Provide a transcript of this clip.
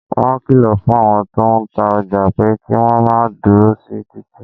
Wọn kìlọ̀ fún àwọn tó ń ta ọjà pé kí wọ́n máa dúró sí títì